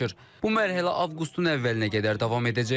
Bu mərhələ avqustun əvvəlinə qədər davam edəcək.